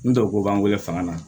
N tɔko b'an wele fanga na